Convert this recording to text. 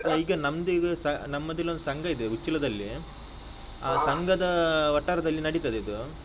ಈಗ ನಮ್ದೀಗ ಸ ನಮ್ಮದಿಲ್ಲೊಂದು ಸಂಘ ಇದೆ ಉಚ್ಚಿಲದಲ್ಲಿ. ಆ ಸಂಘದ ವಠಾರದಲ್ಲಿ ನಡೀತದಿದು.